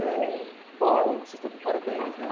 É, bom, vocês estão de parabéns, né?